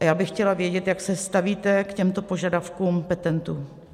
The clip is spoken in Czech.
A já bych chtěla vědět, jak se stavíte k těmto požadavkům petentů.